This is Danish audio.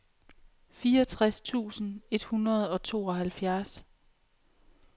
fireogtres tusind et hundrede og tooghalvfjerds